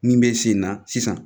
Min bɛ sen na sisan